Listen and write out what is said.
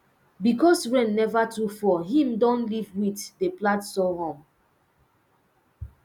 because rain never too fall him don leave wheat dey plant sorghum